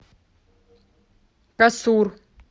касур